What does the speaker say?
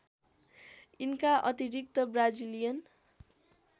यिनका अतिरिक्त ब्राजीलियन